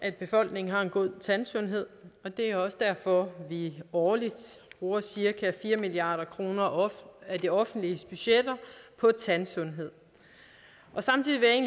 at befolkningen har en god tandsundhed det er også derfor at vi årligt bruger cirka fire milliard kroner af det offentliges budgetter på tandsundhed samtidig vil jeg